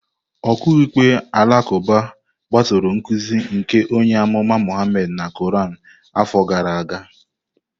Okiikpe alakuba gbasoro nkuzi nke onye amụma Muhammad na Quran afọ gara aga.